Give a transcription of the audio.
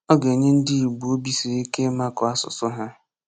Ọ ga-enye ndị Igbo obi siri ike ịmakụ asụsụ ha